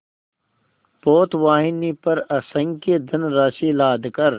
पोतवाहिनी पर असंख्य धनराशि लादकर